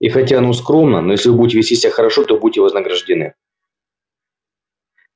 и хотя оно скромно но если вы будете вести себя хорошо то будете вознаграждены